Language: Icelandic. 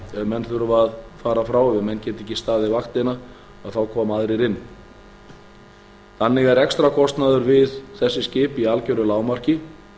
veikindafrí ef menn þurfa að fara frá ef menn geta ekki staðið vaktina þá koma aðrir inn þannig er rekstrarkostnaður við þessi skip í algeru lágmarki